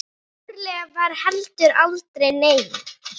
Trúlega var heldur aldrei nein.